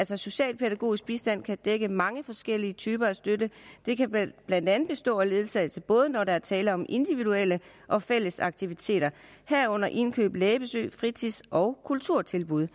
så socialpædagogisk bistand kan dække mange forskellige typer af støtte det kan blandt blandt andet bestå af ledsagelse både når der er tale om individuelle og fælles aktiviteter herunder indkøb lægebesøg fritids og kulturtilbud